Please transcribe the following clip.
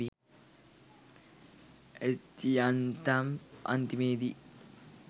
ඇති යන්තම් අන්තිමේදී